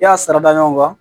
I y'a sara da ɲɔgɔn kan